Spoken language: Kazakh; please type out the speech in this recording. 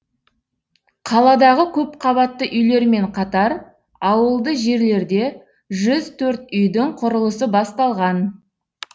қаладағы көпқабатты үйлермен қатар ауылды жерлерде жүз төрт үйдің құрылысы басталған